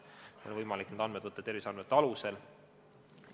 Need otsused on võimalik teha terviseandmete alusel.